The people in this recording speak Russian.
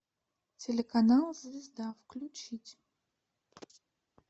телеканал звезда включить